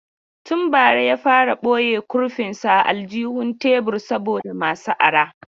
Tun bara ya fara boye kurfin sa a aljihun tebur saboda masu aro.